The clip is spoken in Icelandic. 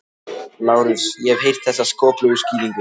LÁRUS: Ég hef heyrt þessa skoplegu skýringu.